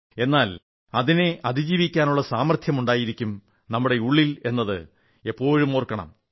എന്നാൽ അതിനെ അതിജീവിക്കാനുള്ള സാമർത്ഥ്യവുമുണ്ടായിരിക്കും നമ്മുടെ ഉള്ളിൽ എന്നത് എപ്പോഴും ഓർക്കണം